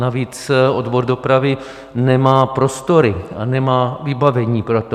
Navíc odbor dopravy nemá prostory a nemá vybavení pro to.